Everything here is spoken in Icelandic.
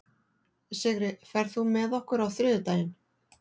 Sigri, ferð þú með okkur á þriðjudaginn?